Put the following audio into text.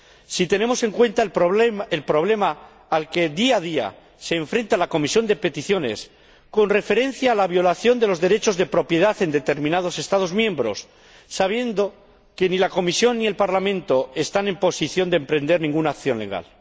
si tenemos en cuenta el problema al que, día a día, se enfrenta la Comisión de Peticiones en relación con la violación de los derechos de propiedad en determinados Estados miembros, sabiendo que ni la Comisión ni el Parlamento están en posición de emprender ninguna acción legal.